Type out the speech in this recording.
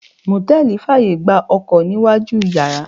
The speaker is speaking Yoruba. Mòtẹ́lì fàyè gba Ọkọ̀ níwájú u yàrá.